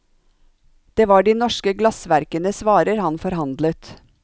Det var de norske glassverkenes varer han forhandlet.